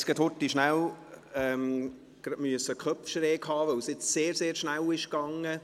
Wir mussten kurz die Köpfe schief halten, da es jetzt sehr schnell ging.